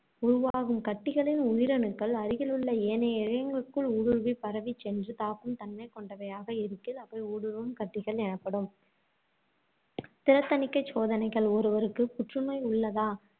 உருவாகும் கட்டிகளின் உயிரணுக்கள், அருகிலுள்ள ஏனைய இழையங்களுக்குள் ஊடுருவிப் பரவிச் சென்று தாக்கும் தன்மை கொண்டவையாக இருக்கையில் அவை ஊடுருவும் கட்டிகள் எனப்படும் திறத் தணிக்கைச் சோதனைகள் ஒருவருக்கு புற்றுநோய் உள்ளதா,